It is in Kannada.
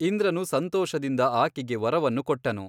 ಇಂದ್ರನು ಸಂತೋಷದಿಂದ ಆಕೆಗೆ ವರವನ್ನು ಕೊಟ್ಟನು.